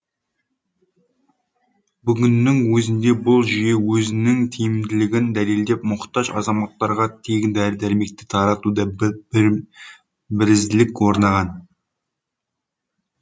бүгіннің өзінде бұл жүйе өзінің тиімділігін дәлелдеп мұқтаж азаматтарға тегін дәрі дәрмектерді таратуда бірізділік орнаған